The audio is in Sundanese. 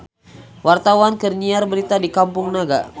Wartawan keur nyiar berita di Kampung Naga